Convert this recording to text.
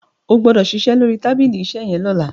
o gbódò ṣiṣẹ lórí tábìlì iṣe yén lọla!